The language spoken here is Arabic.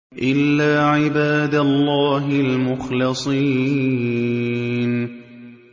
إِلَّا عِبَادَ اللَّهِ الْمُخْلَصِينَ